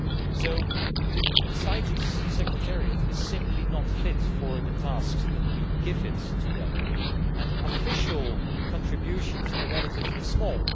So the CITES secretariat is simply not fit for the tasks that we give it, and official contributions are relatively small.